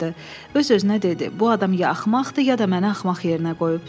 Öz-özünə dedi: bu adam ya axmaqdır, ya da məni axmaq yerinə qoyub.